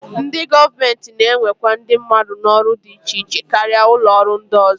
Ndị gọọmenti na-ewekwa ndị mmadụ n'ọrụ dị iche iche karịa ụlọọrụ ndị ọzọ